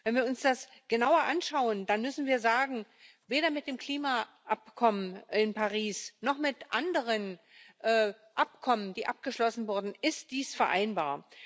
Wenn wir uns das genauer anschauen, dann müssen wir sagen, weder mit dem Klimaabkommen von Paris noch mit anderen Abkommen, die abgeschlossen wurden, ist dies vereinbar.